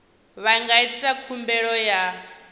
vha nga ita khumbelo ya